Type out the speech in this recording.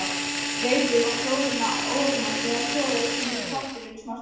Veiðið froðuna ofan af þegar soðið hefur í pottinum smástund.